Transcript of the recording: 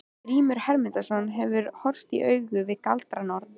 Grímur Hermundsson hefur horfst í augu við galdranorn.